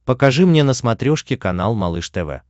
покажи мне на смотрешке канал малыш тв